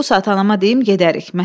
Bu saat anama deyim gedərik.